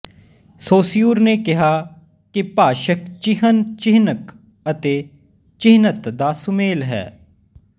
Saussure ਨੇ ਕਿਹਾ ਕਿ ਭਾਸ਼ਕ ਚਿਹਨ ਚਿਹਨਕ ਅਤੇ ਚਿਹਨਤ ਦਾ ਸੁਮੇਲ ਹੈ